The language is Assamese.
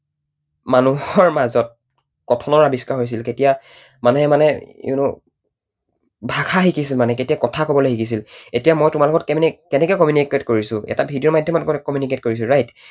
মানুহৰ মাজত কথনৰ আৱিষ্কাৰ হৈছিল, কেতিয়া মানুহে মানে you know ভাষা শিকিছিল মানে, কেতিয়া কথা কবলৈ শিকিছিল? এতিয়া মই তোমাৰ লগত কেনেকৈ communicate কৰিছো? এটা video ৰ মাধ্যমত communicate কৰিছো right?